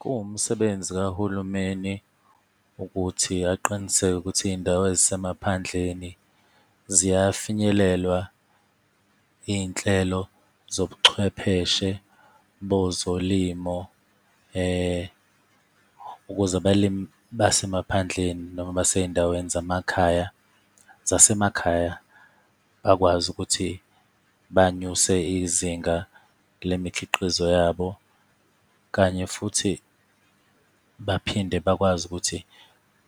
Kuwumsebenzi kahulumeni, ukuthi aqiniseke ukuthi izindawo ezisemaphandleni ziyafinyelelwa iy'nhlelo zobuchwepheshe bozolimo, ukuze abalimi basemaphandleni noma basey'ndaweni zamakhaya, zasemakhaya, bakwazi ukuthi banyuse izinga lemikhiqizo yabo. Kanye futhi baphinde bakwazi ukuthi